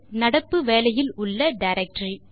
நடப்பு வேலையில் உள்ள டைரக்டரி